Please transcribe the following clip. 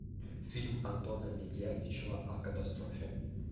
фильм антона мегердичева о катастрофе